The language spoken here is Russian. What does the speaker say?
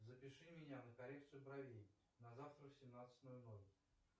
запиши меня на коррекцию бровей на завтра в семнадцать ноль ноль